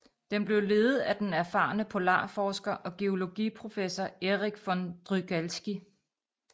Den blev ledet af den erfarne polarforsker og geologiprofessor Erich von Drygalski